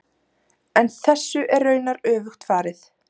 En þessu er raunar öfugt farið.